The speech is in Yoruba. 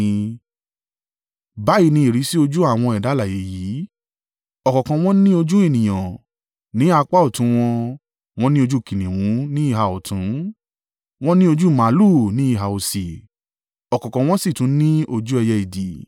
Báyìí ni ìrísí ojú àwọn ẹ̀dá alààyè yìí: ọ̀kọ̀ọ̀kan wọn ní ojú ènìyàn, ní apá ọ̀tún wọn, wọ́n ní ojú kìnnìún ní ìhà ọ̀tún, wọ́n ní ojú màlúù ní ìhà òsì, ọ̀kọ̀ọ̀kan wọ́n sì tún ní ojú ẹyẹ idì.